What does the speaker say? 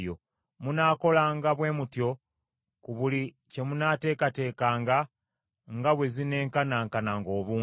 Munaakolanga bwe mutyo ku buli gye munaateekateekanga nga bwe zinenkananga obungi.